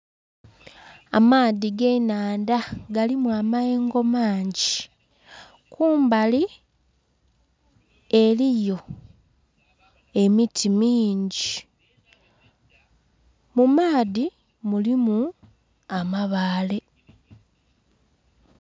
Amaadhi g'ennhandha galimu amayengo mangi, kumbali eliyo emiti mingi mu maadhi mulimu amabaale.